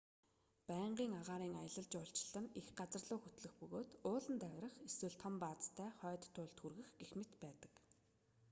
байнгын агаарын аялал жуулчлал нь их газарлуу хөтлөх бөгөөд ууланд авирах эсвэл том баазтай хойд туйлд хүрэх гэх мэт байдаг